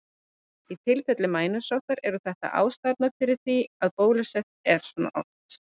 Í tilfelli mænusóttar eru þetta því ástæðurnar fyrir því að bólusett er svona oft.